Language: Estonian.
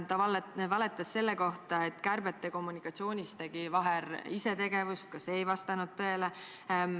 Ta valetas selle kohta, et kärbete kommunikatsioonis tegi Vaher isetegevust – ka see ei vastanud tõele.